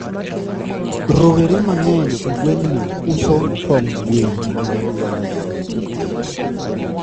rowere mangeny e gwengni uso tong gwen